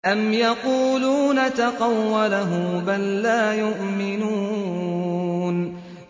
أَمْ يَقُولُونَ تَقَوَّلَهُ ۚ بَل لَّا يُؤْمِنُونَ